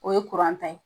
O ye ta ye